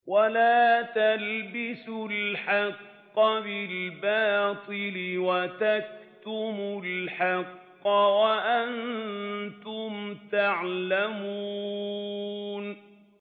وَلَا تَلْبِسُوا الْحَقَّ بِالْبَاطِلِ وَتَكْتُمُوا الْحَقَّ وَأَنتُمْ تَعْلَمُونَ